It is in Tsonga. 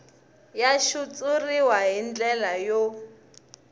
ya xitshuriwa hi ndlela yo